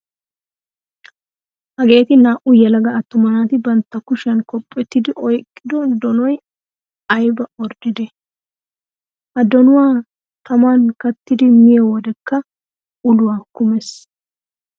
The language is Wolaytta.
Hageeti naa''u yelaga attuma naati bantta kushiyan kophphetidi oyiqqido donoyi ayiba orddidee. Ha donuwaa taman kattidi miyoo wedekka uluwaa kumes.